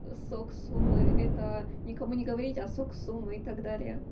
сок суммы это никому не говорить а сок суммы и так далее